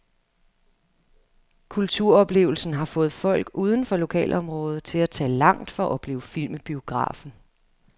Kulturoplevelsen har fået folk uden for lokalområdet til at tage langt for at opleve film i biografen.